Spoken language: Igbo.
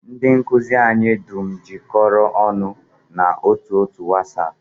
Ndị nkụzi anyị dum jikọrọ ọnụ n'otu otu wasap